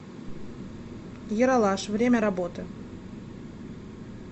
ералаш время работы